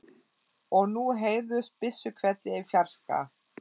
Og nú heyrðust byssuhvellir í fjarska.